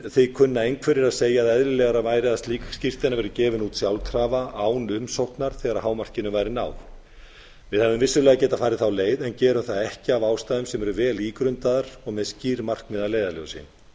því kunna einhverjir að segja að eðlilegra væri að slík skírteini væru gefin út sjálfkrafa án umsóknar þegar hámarkinu væri náð við hefðum vissulega getað farið þá leið en gerum það ekki af ástæðum sem eru vel ígrundaðar og með skýr markmið að leiðarljósi